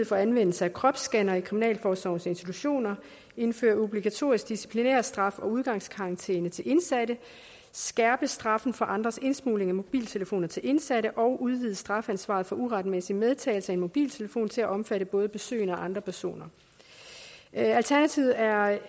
for anvendelse af kropsscannere i kriminalforsorgens institutioner indføre obligatorisk disciplinærstraf og udgangskarantæne til indsatte skærpe straffen for andres indsmugling af mobiltelefoner til indsatte og udvide strafansvaret for uretmæssig medtagelse af en mobiltelefon til at omfatte både besøgende og andre personer alternativet er